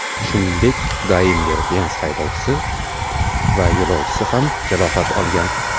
Shuningdek, Daimler-Benz haydovchisi va yo‘lovchisi ham jarohat olgan.